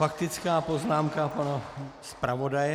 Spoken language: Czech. Faktická poznámka pana zpravodaje.